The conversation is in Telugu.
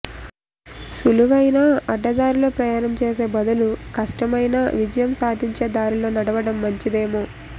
సులువైన అడ్డదారిలో ప్రయాణం చేసే బదులు కష్టమైనా విజయం సాధించే దారిలో నడవడం మంచిదేమో